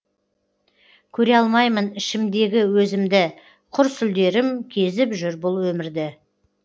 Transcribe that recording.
көре алмаймын ішімдегі өзімді құр сүлдерім кезіп жүр бұл өмірді